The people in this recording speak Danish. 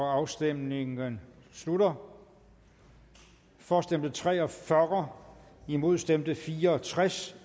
afstemningen slutter for stemte tre og fyrre imod stemte fire og tres